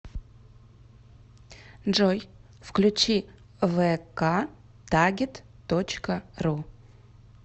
джой включи вэ ка тагит точка ру